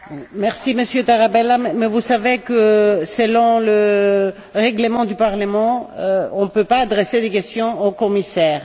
Merci Monsieur Tarabella, mais vous savez que, selon le règlement du Parlement, on ne peut pas adresser de questions aux commissaires.